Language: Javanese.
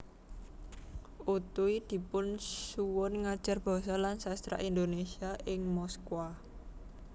Utuy dipun suwun ngajar Basa lan Sastra Indonesia ing Moskwa